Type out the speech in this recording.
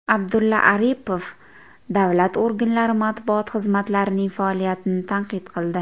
Abdulla Aripov davlat organlari matbuot xizmatlarining faoliyatini tanqid qildi.